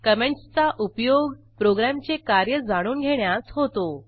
कॉमेंटसचा उपयोग प्रोग्रॅमचे कार्य जाणून घेण्यास होतो